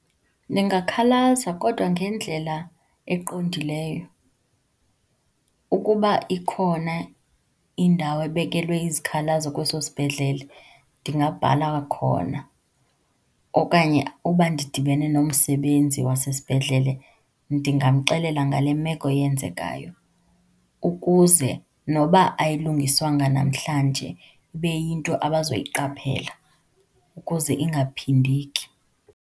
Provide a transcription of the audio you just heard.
Ningakhalaza kodwa ngendlela eqondileyo. Ukuba ikhona indawo ebekelwe izikhalazo kweso sibhedlele, ndingabhala khona. Okanye uba ndidibene nomsebenzi wasesibhedlele, ndingamxelela ngale meko yenzekayo ukuze nokuba ayilungiswanga namhlanje, ibe yinto abazoyiqaphela ukuze ingaphindeki.